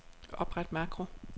Opret makro.